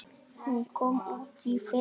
Hún kom út í fyrra.